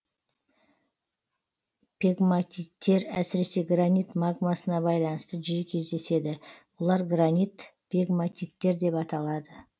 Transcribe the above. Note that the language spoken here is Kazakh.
пегматиттер әсіресе гранит магмасына байланысты жиі кездеседі бұлар гранит пегматиттер деп аталады